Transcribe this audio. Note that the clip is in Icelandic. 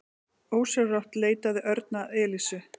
Ósjálfrátt leitaði Örn að Elísu.